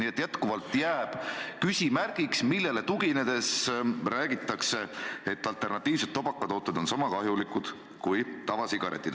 Seega jääb endiselt küsimärgiks, millele tuginedes räägitakse, et alternatiivsed tubakatooted on sama kahjulikud kui tavasigaretid.